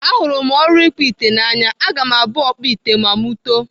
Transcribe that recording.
Ahụrụ m ọrụ ịkpụ ite n'anya. Aga m abụ ọkpụ ite ma mụ too.